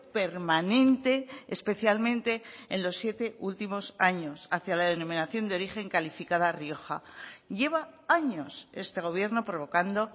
permanente especialmente en los siete últimos años hacia la denominación de origen calificada rioja lleva años este gobierno provocando